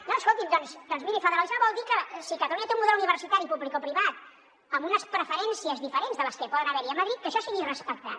no escoltin doncs mirin federalisme vol dir que si catalunya té un model universitari publicoprivat amb unes preferències diferents de les que poden haver hi a madrid que això sigui respectat